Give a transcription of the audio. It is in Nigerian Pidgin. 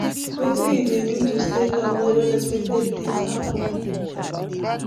wetin you dey do to stay calm when unexpected things happen?